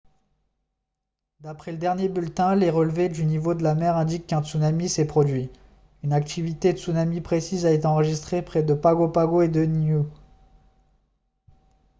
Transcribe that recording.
d'après le dernier bulletin les relevés du niveau de la mer indiquent qu'un tsunami s'est produit une activité tsunami précise a été enregistrée près de pago pago et de niue